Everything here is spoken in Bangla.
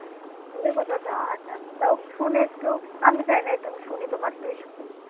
দূরে কোথাও যাওয়া যায়না তাও শুনি একটু আমি যাই নাই আমি শুনি তোমার থেকেই শুনি।